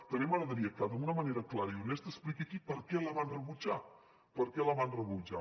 també m’agradaria que d’una manera clara i honesta expliqués aquí per què la van rebutjar per què la ban rebutjar